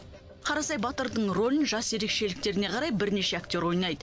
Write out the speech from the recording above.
қарасай батырдың рөлін жас ерекшеліктеріне қарай бірнеше актер ойнайды